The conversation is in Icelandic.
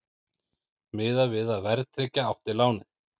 Miðað við að verðtryggja átti lánið